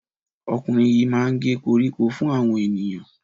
Ọkùnrin yìí máa ń gé koríko fún àwọn ènìyàn.